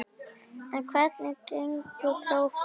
En hvernig gengu prófin?